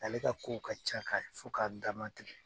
Ale ka ko ka ca ka fo k'a damatɛmɛ